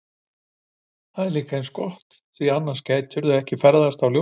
Það er líka eins gott því annars gætu þær ekki ferðast á ljóshraða!